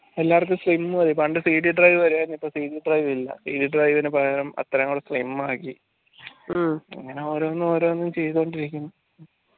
എല്ലാവര്ക്കും slim മതി പണ്ട് CD drive വരെ ഇപ്പോ CD drive ഇല്ല CD drive ഇന് പകരം അത്രയും slim ആക്കി ഓരോന്നും ഓരോന്നും ചെയ്തോണ്ടിരിക്കുന്നു